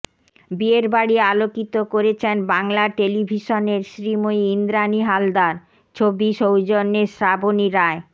বিয়ের বাড়ি আলোকিত করেছেন বাংলা টেলিভিশনের শ্রীময়ী ইন্দ্রাণী হালদার ছবি সৌজন্যে শ্রাবণী রায়